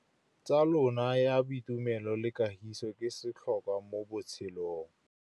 Tsalano ya boitumelo le kagiso ke setlhôkwa mo botshelong.